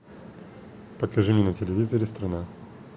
покажи мне на телевизоре страна